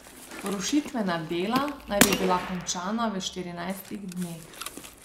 Rušitvena dela naj bi bila končana v štirinajstih dneh.